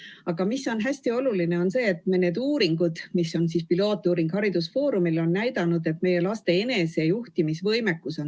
Aga hästi oluline on see, et haridusfoorumi tehtud pilootuuringud on näidanud, et kõige olulisem on meie laste enesejuhtimisvõimekus.